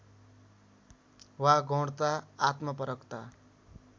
वा गौणता आत्मपरकता